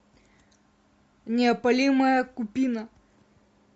неопалимая купина